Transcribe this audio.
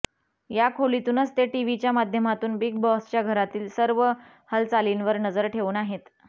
या खोलीतूनच ते टिव्हीच्या माध्यमातून बिग बॉसच्या घरातील सर्व हलचालींवर नजर ठेऊन आहेत